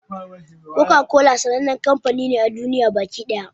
Koka-kola sannan kamfani ne a duniya baki ɗaya.